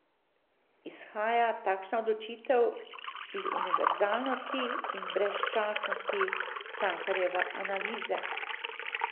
Izhaja takšna odločitev iz univerzalnosti in brezčasnosti Cankarjeve analize?